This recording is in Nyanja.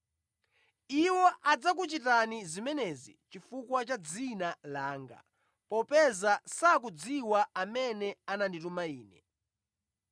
Iwo adzakuchitani zimenezi chifukwa cha dzina langa, popeza sakudziwa amene anandituma Ine.